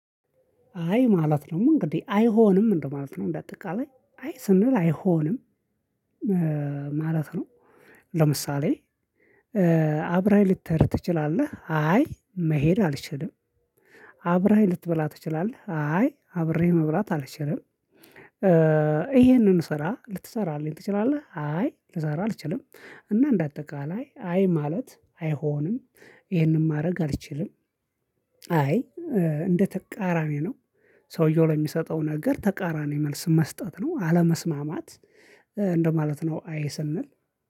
አይ ማለት ነው እንግዲህ አይሆንም ምንድነው? ማለት ነው እንደ አጠቃላይ አይ ስንል አይሆንም ማለት ነው። ለምሳሌ አብረኸኝ ልትሄድ ትችላለህ አይ መሄድ አልችልም። አብረኸኝ ልትበላ ትችላለህ አይ አብሬ መብራት አልችልም። ስራ ልትሰራ አለኝ ትችላለህ አይ ልሰራ አልችልም። እና እንደ አጠቃላይ አይ ማለት አይሆንም። ይሄንን ማድረግ አልችልም። አይ እንደ ተቃራኒ ነው። ሰውየው ለሚሰጠው ነገር ተቃራኒ መልስ መስጠት ነው አለመስማማት እንደማለት ነው። አይ ስንል